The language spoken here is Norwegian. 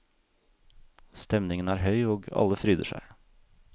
Stemningen er høy og alle fryder seg.